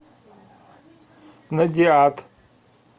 надиад